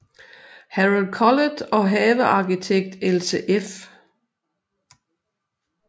Harald Collet og havearkitekt Else f